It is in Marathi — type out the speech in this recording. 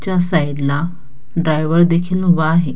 च्या साईड ला ड्राईव्हर देखील उभा आहे.